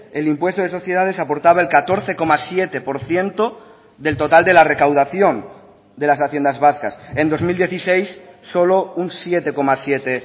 el impuesto de sociedades aportaba el catorce coma siete por ciento del total de la recaudación de las haciendas vascas en dos mil dieciséis solo un siete coma siete